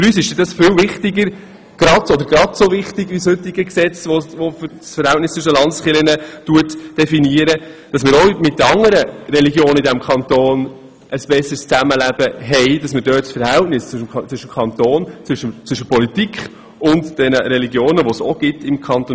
Es ist für uns sehr wichtig, dass wir auch mit den anderen Religionen in unserem Kanton eine bessere Art des Zusammenlebens finden und das Verhältnis zwischen der Politik und diesen Religionen regeln.